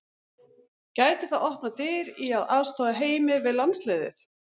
Gæti það opnað dyr í að aðstoða Heimi við landsliðið?